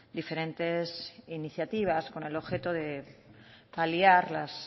diferentes iniciativas con el objeto de aliar las